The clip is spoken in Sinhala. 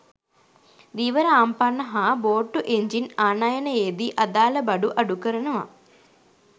ධීවර ආම්පන්න හා බෝට්ටු එන්ජින් ආනයනයේදී අදාළ බඩු අඩු කරනවා.